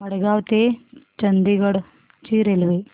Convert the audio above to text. मडगाव ते चंडीगढ ची रेल्वे